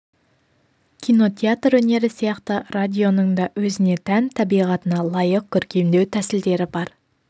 кино театр өнері сияқты радионың да өзіне тән табиғатына лайық көркемдеу тәсілдері бар